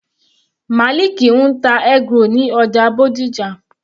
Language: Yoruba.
Maliki ń ta eggroll ní ọjà Bódìjà.